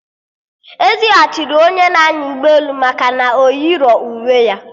Ezighachiri onye na-anya ụgbọelu maka na o yirọ uwe ya